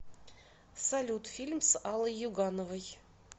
салют фильм с аллой югановой